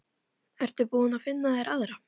Ertu búinn að finna þér aðra?